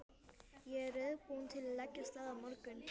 Ég er reiðubúinn til að leggja af stað á morgun.